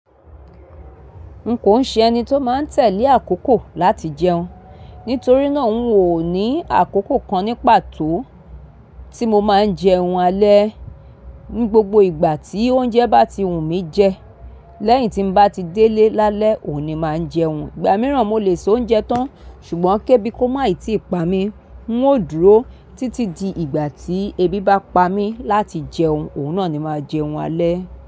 Nko ṣe ẹni tó máa ń tẹ̀lé àkókò láti jẹun, nítorí náà n ò ní àkókò kan ní pàtó tí mo máa ń jẹun alẹ́. Ni gbogbo ìgbà tí oúnjẹ bá ti wù mí jẹ, lẹ́yìn tí n bá ti délé lálẹ́ òní máa jẹun. Ìgbà mìíràn mo lè so oúnjẹ tán ṣùgbọ́n kébí kó máì tí ìpa mi, n ó dúró títí di ìgbà tí ebi bá pa mí láti jẹun, òun náà ni máa jẹun alẹ́.